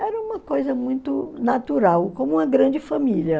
Era uma coisa muito natural, como uma grande família.